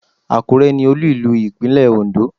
Àkúrẹ́ ni olú ìlú Ìpínlẹ̀ Ondó